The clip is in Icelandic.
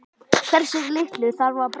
Hversu litlu þarf að breyta?